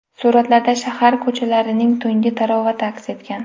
Suratlarda shahar ko‘chalarining tungi tarovati aks etgan.